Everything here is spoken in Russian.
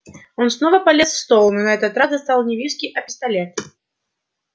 он снова полез в стол но на этот раз достал не виски а пистолет